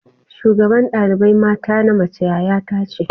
shugaban dalibai mata na mace yaya ta ce.